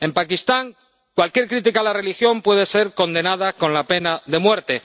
en Pakistán, cualquier crítica a la religión puede ser condenada con la pena de muerte